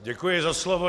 Děkuji za slovo.